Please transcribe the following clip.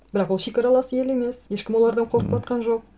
бірақ ол шекаралас ел емес ешкім олардан қорқып отырған жоқ